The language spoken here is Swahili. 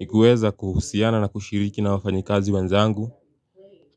ni kuweza kuhusiana na kushiriki na wafanyi kazi wenzangu